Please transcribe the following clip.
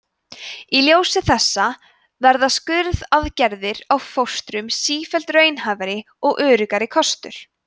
í ljósi þessa verða skurðaðgerðir á fóstrum sífellt raunhæfari og öruggari kostur